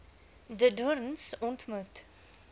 de doorns ontmoet